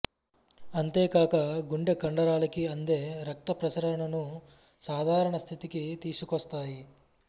అంతేకాక గుండె కండరాలకి అందే రక్తప్రసరణను సాధారణ స్థితికి తీసుకొస్తాయి